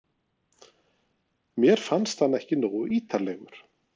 Mér fannst hann ekki nógu ítarlegur.